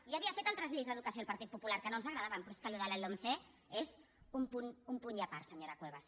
ja havia fet altres lleis d’educació el partit popular que no ens agradaven però és que això de la lomce és un punt i a part senyora cuevas